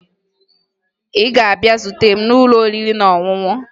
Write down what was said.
Ị ga-abịa zute m n'ụlọ oriri na ọṅụṅụ!